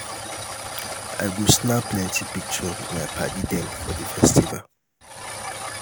i go snap plenty pictures wit my paddy dem for di festival.